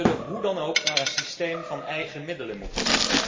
We zullen hoe dan ook naar een systeem van eigen middelen moeten.